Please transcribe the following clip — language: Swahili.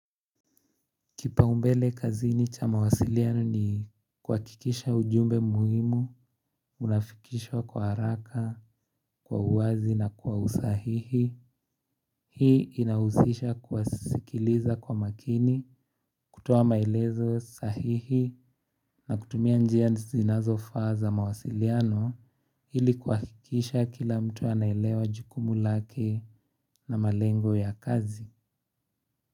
Kipaumbele kazini cha mawasiliano ni kuhakikisha ujumbe muhimu, unafikishwa kwa haraka, kwa uwazi na kwa usahihi, hii inahusisha kuwasikiliza kwa makini, kutoa maelezo sahihi na kutumia njia zinazofaa za mawasiliano, ili kuhakikisha kila mtu anaelewa jukumu lake na malengo ya kazi.